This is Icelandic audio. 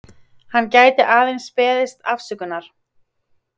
Hann gæti aðeins beðist afsökunar